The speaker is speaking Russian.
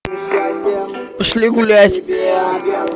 пошли гулять